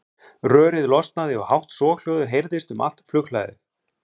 Rörið losnaði og hátt soghljóðið heyrðist um allt flughlaðið.